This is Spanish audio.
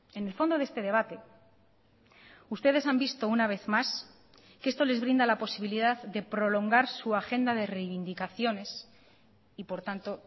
en el fondo de este debate ustedes han visto una vez más que esto les brinda la posibilidad de prolongar su agenda de reivindicaciones y por tanto